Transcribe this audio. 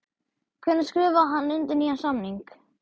Hvenær skrifaði hann undir nýjan samning?